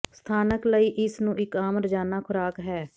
ਸਥਾਨਕ ਲਈ ਇਸ ਨੂੰ ਇੱਕ ਆਮ ਰੋਜ਼ਾਨਾ ਖੁਰਾਕ ਹੈ